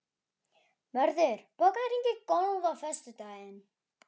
Mörður, bókaðu hring í golf á föstudaginn.